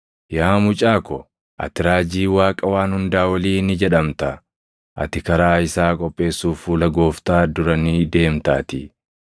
“Yaa mucaa ko, ati raajii Waaqa Waan Hundaa Olii ni jedhamta; ati karaa isaa qopheessuuf fuula Gooftaa dura ni deemtaatii;